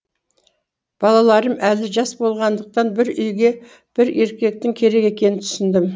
балаларым әлі жас болғандықтан бір үйге бір еркектің керек екенін түсіндім